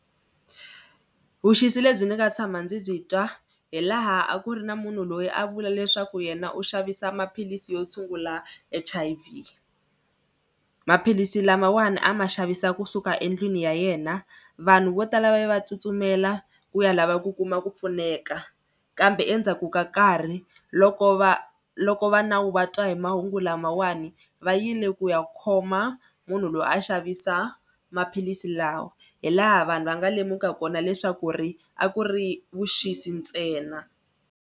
Vuxisi lebyi ni nga tshama ndzi byi twa hi laha a ku ri na munhu loyi a vula leswaku yena u xavisa maphilisi yo tshungula H_I_V. Maphilisi lamawani a ma xavisa kusuka endlwini ya yena vanhu vo tala va ye va tsutsumela ku ya lava ku kuma ku pfuneka kambe endzhaku ka nkarhi loko va loko va nawu vatwa hi mahungu lamawani va yile ku ya khoma munhu loyi a xavisa maphilisi lawa hi laha vanhu va nga lemuka kona leswaku ri a ku ri vuxisi ntsena.